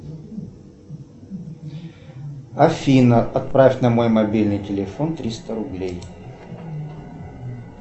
афина отправь на мой мобильный телефон триста рублей